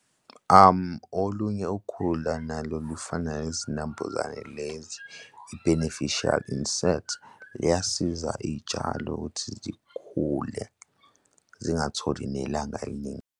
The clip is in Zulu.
Olunye ukhula nalo lufana nezinambuzane lezi i-beneficial insect liyasiza iy'tshalo ukuthi zikhule zingatholi nelanga eliningi.